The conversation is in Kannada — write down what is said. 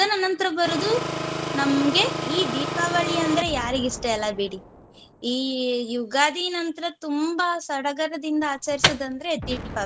ಇದನ ನಂತ್ರ ಬರುದು ನಮ್ಗೆ ಈ ದೀಪಾವಳಿ ಅಂದ್ರೆ ಯಾರಿಗೆ ಇಷ್ಟ ಇಲ್ಲ ಬಿಡಿ. ಈ ಯುಗಾದಿ ನಂತ್ರ ತುಂಬ ಸಡಗರದಿಂದ ಆಚರಿಸುದಂದ್ರೆ ದೀಪಾವಳಿ.